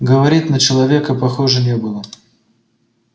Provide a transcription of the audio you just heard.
говорит на человека похоже не было